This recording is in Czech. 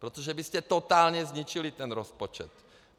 Protože byste totálně zničili ten rozpočet.